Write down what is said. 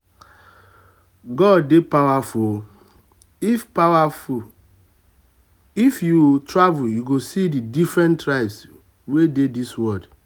god dey powerful oo if powerful oo if you um travel you go see the different tribes wey dey dis world